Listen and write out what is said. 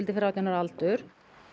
fyrir átján ára aldur